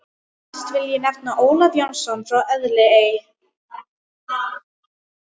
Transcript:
Næstan vil ég nefna Ólaf Jónsson frá Elliðaey.